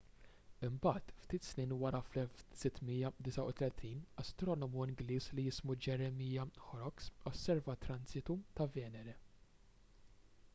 imbagħad ftit snin wara fl-1639 astronomu ingliż li jismu jeremiah horrocks osserva transitu ta' venere